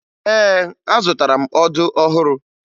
Ee, azụtara ọdụ ọhụrụ